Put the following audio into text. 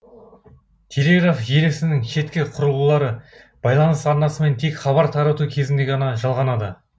телеграф желісінің шеткі құрылғылары байланыс арнасымен тек хабар тарату кезінде ғана жалғанады